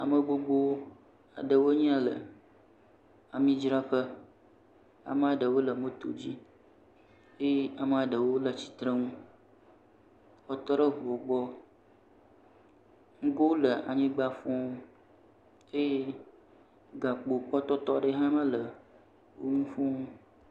Ame gbogbo aɖewo nye ya le amidzraƒe amaɖewo le moto dzi eye amaɖewo le tsitrenu wotɔɖe ʋuwo gbɔ ŋgowo le anyigba fũũ eye gakpo ƒe tɔtɔ ɖe hã ma le wo ŋu fũũ.